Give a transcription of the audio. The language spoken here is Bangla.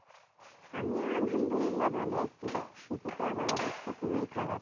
আমিও আলহামদুলি্লাহ ভালো আছি but শীতে তো আমার অবস্থা পুরোই খারাপ।